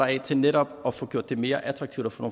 af til netop at få gjort det mere attraktivt at få